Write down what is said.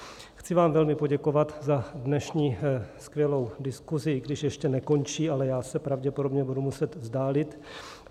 Chci vám velmi poděkovat za dnešní skvělou diskusi, i když ještě nekončí, ale já se pravděpodobně budu muset vzdálit.